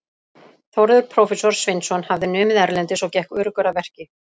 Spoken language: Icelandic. Þórður prófessor Sveinsson hafði numið erlendis og gekk öruggur að verki.